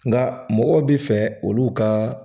Nka mɔgɔw bɛ fɛ olu ka